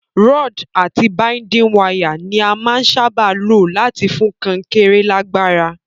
Rod àti binding wire ni a màa n sábà lo láti fún kankéré lágbára